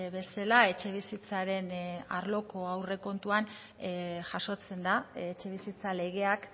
bezala etxebizitzaren arloko aurrekontuan jasotzen da etxebizitza legeak